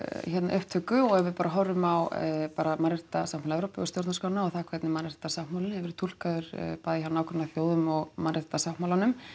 upptöku og við bara horfum á bara mannréttindasáttmála Evrópu og stjórnarskránna og það hvernig mannréttindasáttmálinn hefur verið túlkaður bæði hjá nágrannaþjóðum og mannréttindasáttmálanum